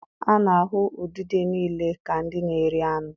A na-ahụ udide niile ka ndị na-eri anụ.